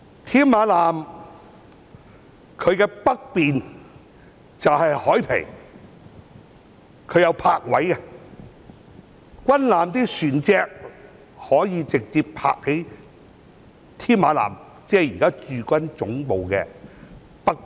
添馬艦的北面是海傍，設有泊位，軍艦船隻可以直接停泊在添馬艦，即現時駐軍總部的北面。